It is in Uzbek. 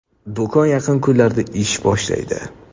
Do‘kon yaqin kunlarda ish boshlaydi.